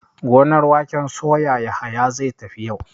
Gonar waken soya Yahaya zai tafi yau.